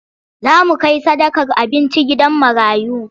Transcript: Za mu kai sadakar abinci gidan marayu.